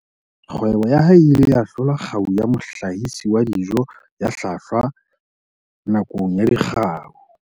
Kgwebo ya hae e ile ya hlola kgau ya mohlahisi wa dijo ya hlwahlwa nakong ya Dikgau